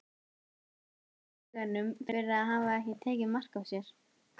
Þakkar henni í huganum fyrir að hafa ekki tekið mark á sér.